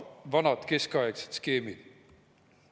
samad vanad keskaegsed skeemid.